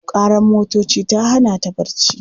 Ƙarar motoci ta hana ta barci.